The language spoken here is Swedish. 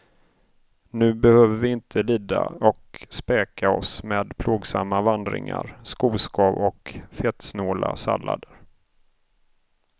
Nu behöver vi inte lida och späka oss med plågsamma vandringar, skoskav och fettsnåla sallader.